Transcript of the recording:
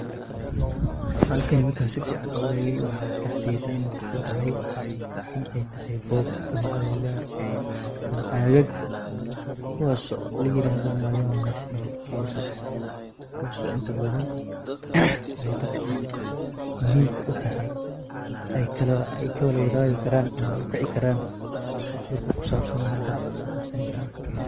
xalkani markaa si fiican u eegay waxaa maskaxdeyda ama ku soo dhacay in ay tahay goob ama agagaar ama agaag kuwaas oo layirado mwalimu national houses ,kuwaas oo inta badan dadka muhimka utahay ayka wala wadhagi karaan ama ukici karan wax walbo kusabsan halkaas kasoqabsani karan.